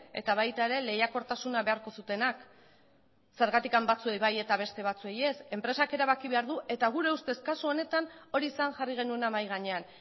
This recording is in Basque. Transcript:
eta baita ere lehiakortasuna beharko zutenak zergatik batzuei bai eta beste batzuei ez enpresak erabaki behar du eta gure ustez kasu honetan hori zen jarri genuena mahai gainean